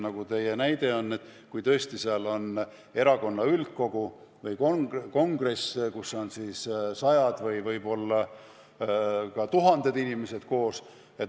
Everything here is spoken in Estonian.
Teie küsimus oli, et kui on näiteks erakonna üldkogu või kongress, kus on sajad või ka tuhanded inimesed koos.